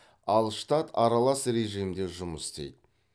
ал штат аралас режимде жұмыс істейді